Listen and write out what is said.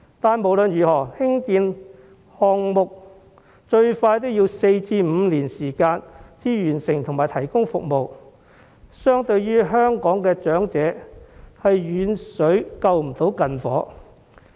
但是，無論如何，興建項目最快也要4年至5年才能落成投入服務，對香港長者的需求，是遠水救不了近火。